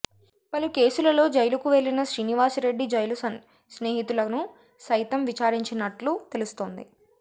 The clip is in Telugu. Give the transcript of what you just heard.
పలు కేసుల లో జైలుకు వెళ్లిన శ్రీనివాసరెడ్డి జైలు స్నేహితులను సైతం విచారించనున్న ట్లు తెలుస్తోంది